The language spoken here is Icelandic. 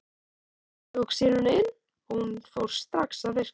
Ég tók sýruna inn og hún fór strax að virka.